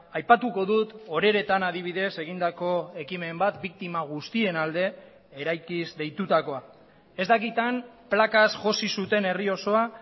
aipatuko dut oreretan adibidez egindako ekimen bat biktima guztien alde eraikiz deitutakoa ez dakit han plakaz josi zuten herri osoa